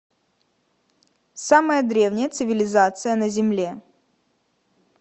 самая древняя цивилизация на земле